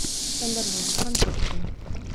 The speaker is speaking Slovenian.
Vendar v francoščini.